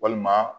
Walima